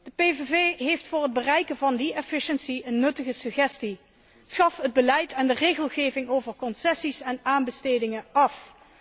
De PVV heeft voor het bereiken van die een nuttige suggestie schaf het beleid en de regelgeving over concessies en aanbestedingen af.